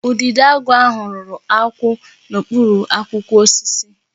Udidoagu ahụ rụrụ akwụ n'okpuru akwụkwọ osisi